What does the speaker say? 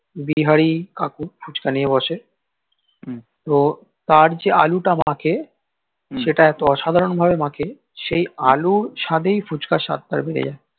বিহারি কাকু ফুচকা নিয়ে বসে তো তার যেই আলুটা মাখে তার সেটা এতো অসাধারন ভাবে মাখে সেই আলুর সাদেই ফুচকার স্বাদ টা ভরে যাই